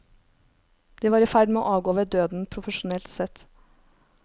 De var i ferd med å avgå ved døden, profesjonelt sett.